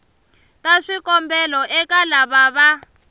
ta swikombelo eka lava va